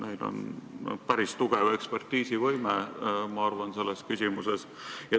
Neil on päris tugev ekspertiisivõime, ma arvan, selles küsimuses.